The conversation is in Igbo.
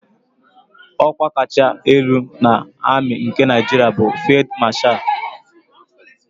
Ọ́kwá kacha elu na amị nke Naịjiria bụ Fịld Mashal.